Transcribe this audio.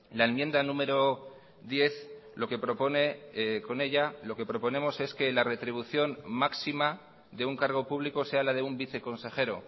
la enmienda número diez lo que propone con ella lo que proponemos es que la retribución máxima de un cargo público sea la de un viceconsejero